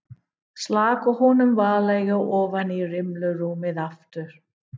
Slakaði honum varlega ofan í rimlarúmið aftur.